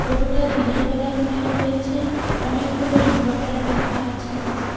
ফোটোটা দিনের বেলা তুলা হয়েছে অনেকগুলো ইনভার্টার রাখা আছে নীচে।